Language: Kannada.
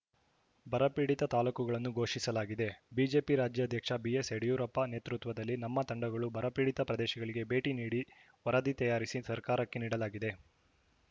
ಬರಪೀಡಿತ ತಾಲೂಕುಗಳನ್ನು ಘೋಷಿಸಲಾಗಿದೆ ಬಿಜೆಪಿ ರಾಜ್ಯಾಧ್ಯಕ್ಷ ಬಿಎಸ್‌ ಯಡಿಯೂರಪ್ಪ ನೇತೃತ್ವದಲ್ಲಿ ನಮ್ಮ ತಂಡಗಳು ಬರಪೀಡಿತ ಪ್ರದೇಶಗಳಿಗೆ ಭೇಟಿ ನೀಡಿ ವರದಿ ತಯಾರಿಸಿ ಸರ್ಕಾರಕ್ಕೆ ನೀಡಲಾಗಿದೆ